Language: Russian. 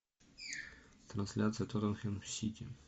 трансляция тоттенхэм сити